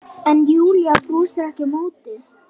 En Júlía brosir ekki á móti.